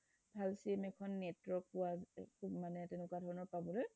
ভাল sim এখন network পোৱা মানে তেনেকুৱা ধৰণৰ পাবলৈ